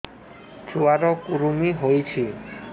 ଛୁଆ ର କୁରୁମି ହୋଇଛି